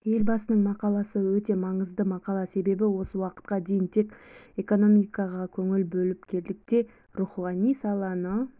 елбасының мақаласыөте маңызды мақала себебі осы уақытқа дейін тек экономикаға көңіл бөліп келдік те рухани саланы